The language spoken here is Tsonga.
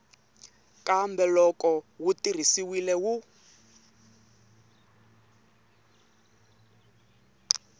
kambe loko wu tirhisiwile wu